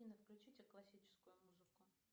афина включите классическую музыку